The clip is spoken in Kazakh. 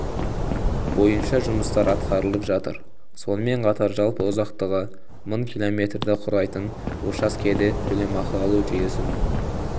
бойынша жұмыстар атқарылып жатыр сонымен қатар жалпы ұзақтығы мың км-ді құрайтын учаскеде төлемақы алу жүйесін